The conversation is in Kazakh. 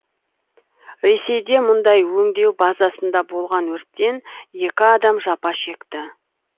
ресейде мұнай өңдеу базасында болған өрттен екі адам жапа шекті